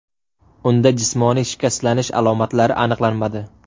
Unda jismoniy shikastlanish alomatlari aniqlanmadi.